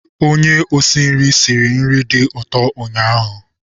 Onye osi nri siri nri dị ụtọ ụnyaahụ.